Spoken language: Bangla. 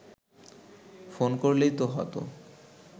ফোন করলেই তো হতো